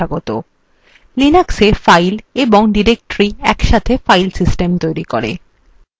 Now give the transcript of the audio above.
linuxএ files এবং directories একসাথে files system তৈরি করে